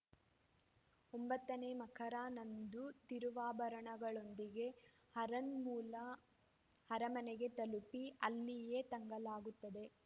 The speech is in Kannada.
ಒಂಬತ್ತ ನೇ ಮಕರನಂದು ತಿರುವಾಭರಣಗಳೊಂದಿಗೆ ಆರನ್‌ಮುಲಾ ಅರಮನೆಗೆ ತಲುಪಿ ಅಲ್ಲಿಯೇ ತಂಗಲಾಗುತ್ತದೆ